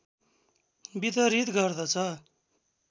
वितरित गर्दछ